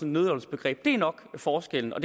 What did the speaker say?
nødløgnsbegreb det er nok forskellen og